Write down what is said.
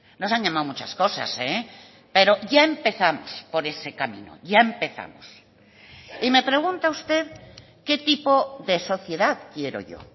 nos han llamado muchas cosas pero ya empezamos por ese camino ya empezamos y me pregunta usted qué tipo de sociedad quiero yo